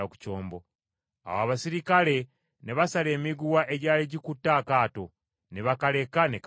Awo abaserikale ne basala emiguwa egyali gikutte akato, ne bakaleka ne kagwayo.